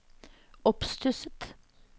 oppstusset